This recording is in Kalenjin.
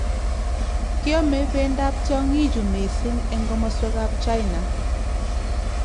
Kiame bendab tyong'ichu mising' eng' komoswekab China